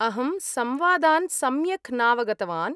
अहं संवादान् सम्यक् नावगतवान्‌।